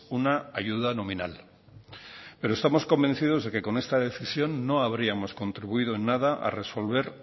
una ayuda nominal pero estamos convencidos de que con esta decisión no habríamos contribuido en nada a resolver